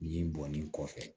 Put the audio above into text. Nin bɔnnen kɔfɛ